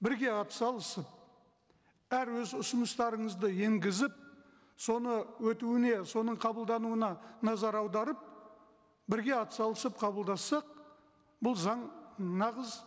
бірге атсалысып әр өз ұсыныстарыңызды енгізіп соны өтуіне соның қабылдануына назар аударып бірге атсалысып қабылдассақ бұл заң нағыз